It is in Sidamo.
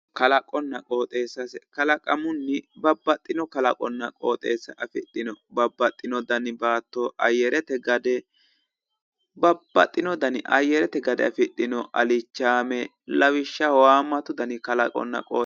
Kalaqonna qooxeessase kalaqamunni babbaxxino qooxeessa afidhino babbaxxinoo dani baatto ayyarete gade babbaxxino ayyarete gade afidhino alichaame lawishshaho haammatu dani kalaqonna aqooxeessa